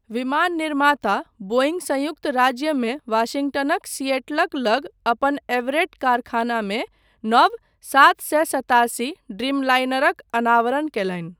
विमान निर्माता बोईंङ्ग संयुक्त राज्यमे वाशिंगटनक सिएटलक लग अपन एवरेट कारखानामे नव सात सए सत्तासी ड्रीमलाइनरक अनावरण कयलनि।